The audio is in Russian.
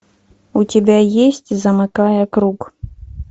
у тебя есть замыкая круг